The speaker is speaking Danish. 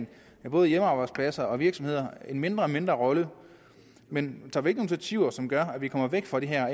både hjemmearbejdspladser og virksomheder en mindre og mindre rolle men tager vi initiativer som gør at vi kommer væk fra den her